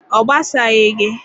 Ọ gbasaghị gị.